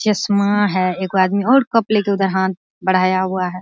चस्मा है एगो आदमी और कप लेके उधर हांथ बढ़ाया हुआ है।